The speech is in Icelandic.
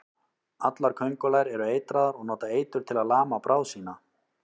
Allar köngulær eru eitraðar og nota eitur til að lama bráð sína.